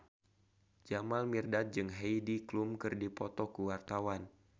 Jamal Mirdad jeung Heidi Klum keur dipoto ku wartawan